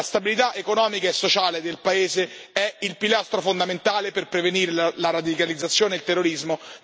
La stabilità economica e sociale del paese è il pilastro fondamentale per prevenire la radicalizzazione e il terrorismo.